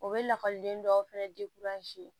O bɛ lakɔliden dɔw fana